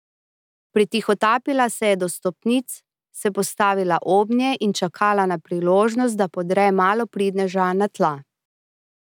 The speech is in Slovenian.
Pritihotapila se je do stopnic, se postavila obnje in čakala na priložnost, da podre malopridneža na tla.